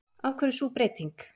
Af hverju er sú breyting?